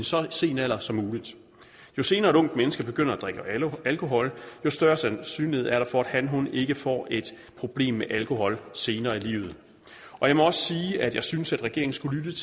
så sen alder som muligt jo senere et ungt menneske begynder at drikke alkohol jo større sandsynlighed er der for at han eller hun ikke får et problem med alkohol senere i livet jeg må også sige at jeg synes at regeringen skulle